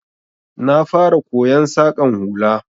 Na fara koyon Saƙan hula